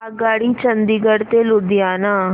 आगगाडी चंदिगड ते लुधियाना